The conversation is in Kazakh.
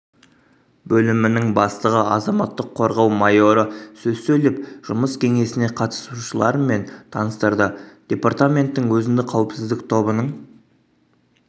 бөлімінің бастығы азаматтық қорғау майоры сөз сөйлеп жұмыс кеңесіне қатысушыларымен таныстырды департаменттің өзіндік қауіпсіздік тобының